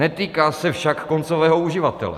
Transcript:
Netýká se však koncového uživatele.